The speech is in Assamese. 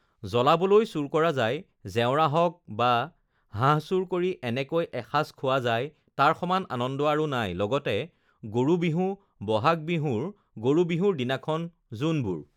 জ্বলাবলৈ চুৰ কৰা যায় জেওৰা হওক বা হাঁহ চুৰ কৰি এনেকৈ এসাঁজ খোৱা যায় তাৰ সমান আনন্দ আৰু নাই লগতে গৰু বিহু বহাগ বিহুৰ গৰু বিহুৰ দিনাখন যোনবোৰ